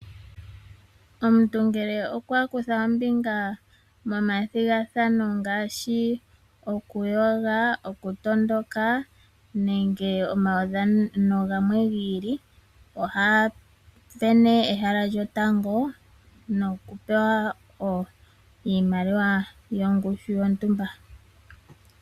Omuntu ngele okwa kutha ombinga momathigathano ngaashi okumbwinda, okutondoka nenge omaudhano gamwe gi ili, oha isindanene ehala lyotango noku pewa iimaliwa yongushu yontumba.